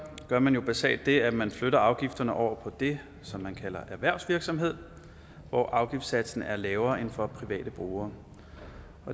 gør man basalt det at man flytter afgifterne over på det som man kalder erhvervsvirksomhed hvor afgiftssatsen er lavere end for private brugere